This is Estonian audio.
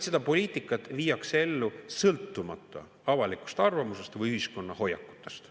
Seda poliitikat viiakse ellu sõltumata avalikust arvamusest või ühiskonna hoiakutest.